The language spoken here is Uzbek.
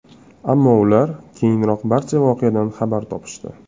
Ammo ular keyinroq barcha voqeadan xabar topishdi.